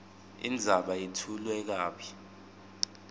indzaba yetfulwe kabi